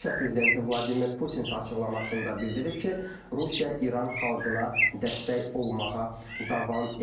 Rusiya prezidenti Vladimir Putin isə açıqlamasında bildirib ki, Rusiya İran xalqına dəstək olmağa davam eləyir.